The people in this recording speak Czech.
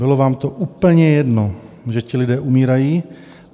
Bylo vám to úplně jedno, že ti lidé umírají.